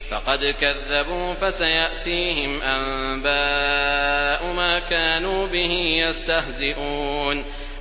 فَقَدْ كَذَّبُوا فَسَيَأْتِيهِمْ أَنبَاءُ مَا كَانُوا بِهِ يَسْتَهْزِئُونَ